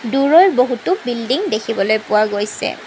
দুৰৈ বহুতো বিল্ডিং দেখিবলৈ পোৱা গৈছে।